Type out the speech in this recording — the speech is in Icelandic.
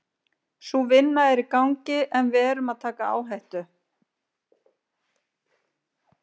Sú vinna er í gangi en við erum að taka áhættu.